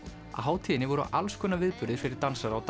á hátíðinni voru alls konar viðburðir fyrir dansara og